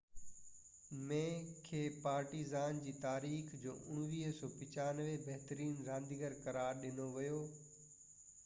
1995 ۾ کي پارٽيزان جي تاريخ جو بهترين رانديگر قرار ڏنو ويو